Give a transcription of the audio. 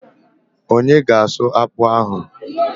Onye ga asụ akpụ ahụ?